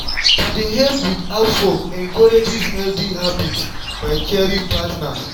to dey help with housework encourages healthy habits by caring partners.